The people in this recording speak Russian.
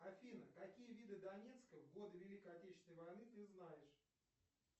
афина какие виды донецка в годы великой отечественной войны ты знаешь